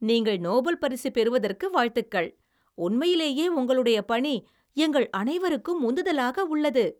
நீங்கள் நோபல் பரிசு பெறுவதற்கு வாழ்த்துக்கள். உண்மையிலேயே உங்களுடைய பணி எங்கள் அனைவருக்கும் உந்துதலாக உள்ளது.